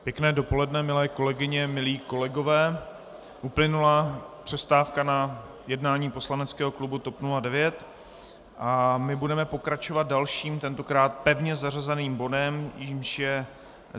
Pěkné dopoledne, milé kolegyně, milí kolegové, uplynula přestávka na jednání poslaneckého klubu TOP 09 a my bude pokračovat dalším, tentokrát pevně zařazeným bodem, jímž je